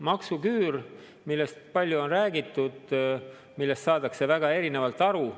Maksuküürust, millest palju on räägitud, saadakse väga erinevalt aru.